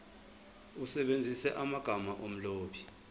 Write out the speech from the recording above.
usebenzise amagama omlobi